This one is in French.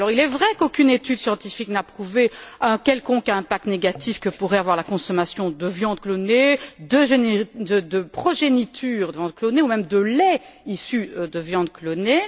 Il est vrai qu'aucune étude scientifique n'a prouvé un quelconque impact négatif que pourrait avoir la consommation de viande clonée, de progéniture de viande clonée ou même de lait issu de viande clonée.